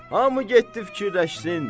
Hamı getdi fikirləşsin.